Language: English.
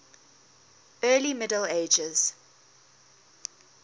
early middle ages